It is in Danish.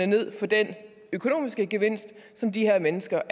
ned på den økonomiske gevinst som de her mennesker